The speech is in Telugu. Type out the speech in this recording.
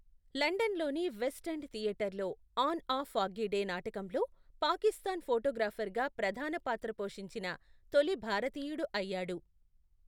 లండన్లోని వెస్ట్ ఎండ్ థియేటర్లో ఆన్ ఆ ఫాగ్గి డే నాటకంలో పాకిస్తాన్ ఫొటోగ్రాఫర్గా ప్రధాన పాత్ర పోషించిన తొలి భారతీయుడు అయ్యాడు.